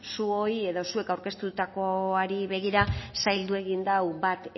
zuoi edo zuek aurkeztutakoari begira zaildu egin du bat